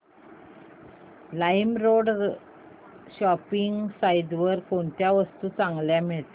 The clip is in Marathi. लाईमरोड शॉपिंग साईट वर कोणत्या वस्तू चांगल्या मिळतात